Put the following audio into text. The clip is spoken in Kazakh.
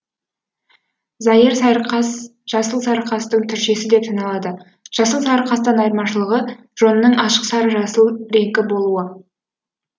зайыр сайырқас жасыл сарықастың түршесі деп саналады жасыл сарықастан айырмашылығы жонының ашық сары жасыл реңкі болуы